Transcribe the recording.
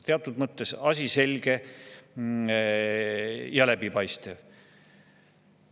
Teatud mõttes on asi selge ja läbipaistev.